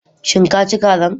Shin ka ci kazan?